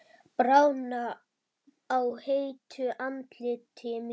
Bráðna á heitu andliti mínu.